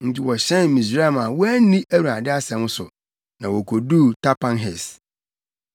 Enti wɔhyɛn Misraim a wɔanni Awurade asɛm so, na wokoduu Tapanhes.